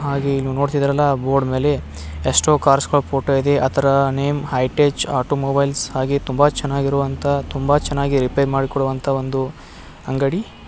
ಹಾಗಿ ಇಲ್ಲಿ ನೋಡಿದ್ರಲ್ಲಾ ಬೋರ್ಡ್ ಮೇಲೆ ಎಷ್ಟೋ ಕಾರ್ಸ್ ಗಳ್ ಫೋಟೋ ಇದೆ ಆತರ ನೇಮ್ ಹೈ ತೇಜ್ ಆಟೋಮೊಬೈಲ್ಸ್ ಹಾಗೆ ತುಂಬಾ ಚೆನ್ನಾಗಿರೊವಂತಹ ತುಂಬಾ ಚೆನ್ನಾಗಿ ರಿಪೇರ್ ಮಾಡಿಕೊಳ್ಳುವಂತಹ ಒಂದು ಅಂಗಡಿ.